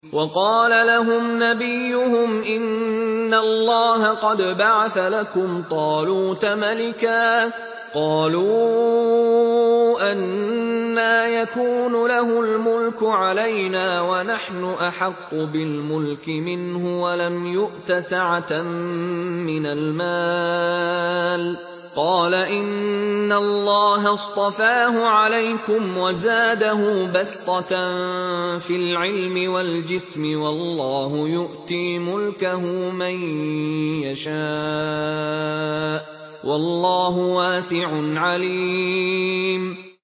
وَقَالَ لَهُمْ نَبِيُّهُمْ إِنَّ اللَّهَ قَدْ بَعَثَ لَكُمْ طَالُوتَ مَلِكًا ۚ قَالُوا أَنَّىٰ يَكُونُ لَهُ الْمُلْكُ عَلَيْنَا وَنَحْنُ أَحَقُّ بِالْمُلْكِ مِنْهُ وَلَمْ يُؤْتَ سَعَةً مِّنَ الْمَالِ ۚ قَالَ إِنَّ اللَّهَ اصْطَفَاهُ عَلَيْكُمْ وَزَادَهُ بَسْطَةً فِي الْعِلْمِ وَالْجِسْمِ ۖ وَاللَّهُ يُؤْتِي مُلْكَهُ مَن يَشَاءُ ۚ وَاللَّهُ وَاسِعٌ عَلِيمٌ